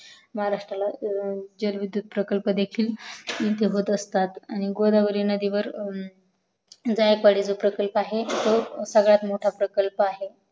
महारस्त्राला जल विद्यात प्रकल्प देखील होत असतात आणि गोदावरी नदीवर जायकवडी प्रकल्प जो आहे तो सर्वात मोठा प्रकल्प आहे